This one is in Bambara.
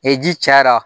Ni ji cayara